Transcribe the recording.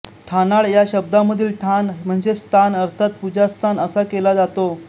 ठाणाळ या शब्दामधील ठाण म्हणजे स्थान अर्थात पूजास्थान असा केला जातो